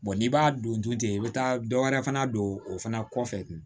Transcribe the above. n'i b'a don dun ten i bɛ taa dɔwɛrɛ fana don o fana kɔfɛ